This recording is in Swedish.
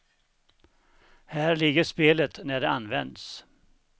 Här ligger spelet när det används.